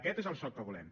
aquest és el soc que volem